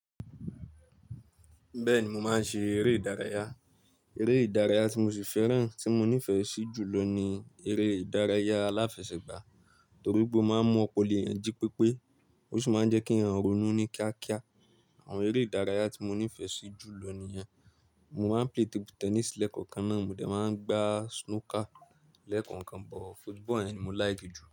Bẹ́ẹ̀ni, mo máa ń ṣe eré ìdárayá. Eré ìdárayá tí mo sì fẹ́ràn tí mo nífẹ̀ẹ́ sí jù lọ ni eré ìdárayá aláfẹsẹ̀gbá, torí pé ó máa ń mu opolo eyan jí pépé, ó sì máa ń jẹ́ kí ẹran ronú ní kíákíá. Àwọn eré ìdárayá tí mo nífẹ̀ẹ́ sí jù lọ nìyẹn. Mo máa ń play table tennis lẹ́ẹ̀kan kan náà, mo dẹ̀ máa ń gbá snooker lẹ́ẹ̀kan kan, but football ni mo láì ge jù.